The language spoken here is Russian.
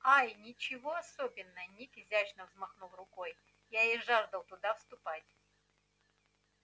ай ничего особенно ник изящно взмахнул рукой я и жаждал туда вступать